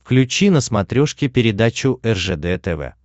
включи на смотрешке передачу ржд тв